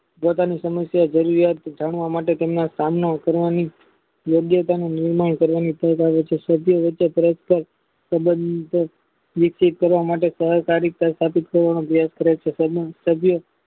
જે તેની સમિતિઓ જરૂરિયાત જાણવા માટે તેમના સામના કરવાની યોગ્યતા ને નિર્ણય કરીને સમજાવે છે સબંધો વિકસિત કરવામાટે સહકારીક